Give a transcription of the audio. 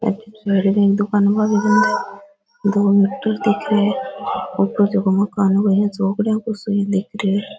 अठीने साइड के माय दुकाना बंद पड़ी है दो मीटर दिख रिया है ऊपर जको मकान है बो चौकडिया सो क दिख रियो है।